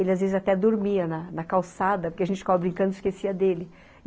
Ele, às vezes, até dormia na na calçada, porque a gente ficava brincando e esquecia dele.